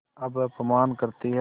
अब अपमान करतीं हैं